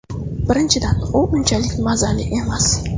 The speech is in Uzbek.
Birinchidan, u unchalik mazali emas.